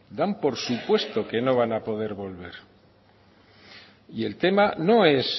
dan por supuesto que no van a poder volver y el tema no es